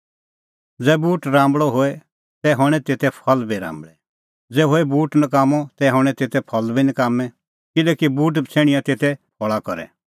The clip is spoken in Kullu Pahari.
ज़ै बूट राम्बल़अ होए तै हणैं तेते फल़ बी राम्बल़ै ज़ै होए बूट नकाम्मअ तै हणैं तेते फल़ बी नकाम्मैं किल्हैकि बूट बछ़ैणियां तेते फल़ा करै